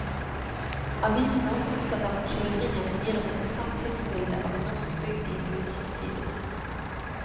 Avisen er også opptatt av at skildringen gir et interessant tidsbilde av en norsk bygd i en brytningstid.